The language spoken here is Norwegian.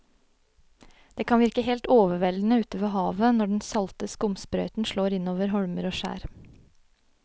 Det kan virke helt overveldende ute ved havet når den salte skumsprøyten slår innover holmer og skjær.